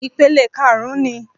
Ìpele karùn-ún ni